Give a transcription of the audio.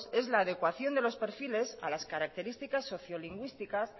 es la adecuación de los perfiles a las características socio lingüísticas